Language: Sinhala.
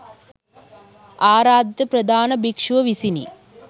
ආරාධිත ප්‍රධාන භික්‍ෂුව විසිනි.